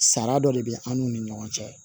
Sara dɔ de bɛ an n'u ni ɲɔgɔn cɛ